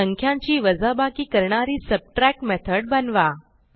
संख्यांची वजाबाकी करणारी सबट्रॅक्ट मेथड बनवा